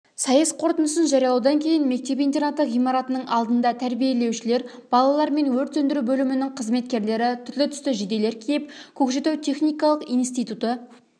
сайыс қорытындысын жариялаудан кейін мектеп-интернаты ғимаратының алдында тәрбиелеушілер балалар мен өрт сөндіру бөлімінің қызметкерлері түрлі-түсті жейделер киіп көкшетау техникалық институты